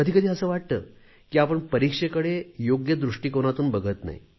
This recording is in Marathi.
कधी कधी असे वाटते की आपण परीक्षेकडे योग्य दृष्टीकोनातून बघत नाही